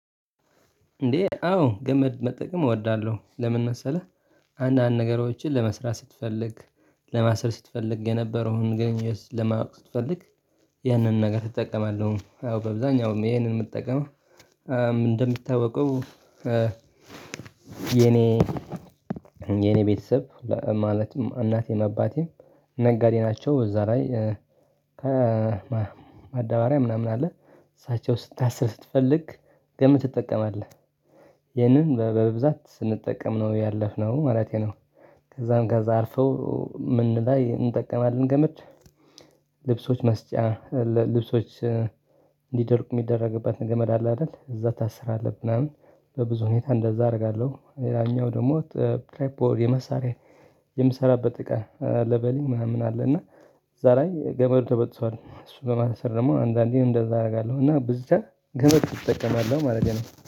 እንዴ አዎ ገመድ መጠቀም እወዳለሁ። ለምን መሰለህ አንዳንድ ነገሮችን ለመስራት ስትፈልግ ለማስሰር ስትፈልግ የነበረውን ግንኙነት ለማወቅ ስትፈልግ ያንን ነገር እጠቀማለሁ። አዎ ባብዛኛውም ይሄንን የምጠቀመው እንደምታውቀው የኔ የኔ ቤተሰብ ማለትም እናቴም አባቴም ነጋዴ ናቸው። እዛ ላይ ከማድበሪያ ምናምን አለ። እሳቸው ስታስር ስትፈልግ ገመድ ትጠቀማለህ። ይህንን በብዛት ስንጠቀም ነው ያለፍነው ማለቴ ነው። ከዛም ከዛ አልፈው ምን ላይ እንጠቀማለን ገመድ ልብሶች ማስጫ ልብሶች እንዲደርቁ የሚደረግበትን ገመድ አለ አይደል፤ እዛ ታስራለህ ምናምን በብዙ ሁኔታ እንደዛ አደርጋለሁ። ሌላኛው ደግሞ ትሬፕ ወር የመሳሪያ የምሰራበት እቃ ለበል ምናምን አለ እና እዛ ላይ ገመዱ ተበጥሷል። እሱ ለማሰር ደግሞ አንዳንዴን እንደዛ አደርጋለሁ። እና ብዙ ገመድ እጠቀማለሁ ማለት ነው።